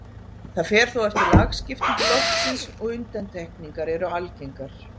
Það fer þó eftir lagskiptingu loftsins og undantekningar eru algengar.